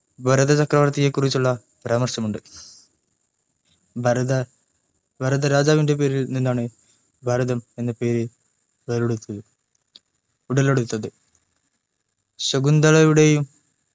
ഭാരതചക്രവർത്തിയെകുറിചുള്ള പരാമർശമുണ്ട്ഭാ രത ഭാരത രാജവിൻ്റെ പേരിൽ നിന്നാണ് ഭാരതം എന്ന പേര് ഉടലെടുത്തത് ശകുന്തളയുടെയും